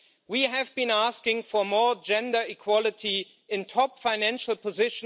we have been asking for more gender equality in top EU financial posts.